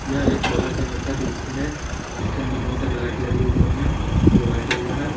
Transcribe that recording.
यह एक होटल के अंदर का दृश्य है जिसके अंदर बहुत सारे लाइट लगे है ऊपर मे जो व्हाइट कलर का है।